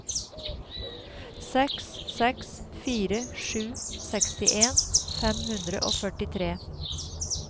seks seks fire sju sekstien fem hundre og førtitre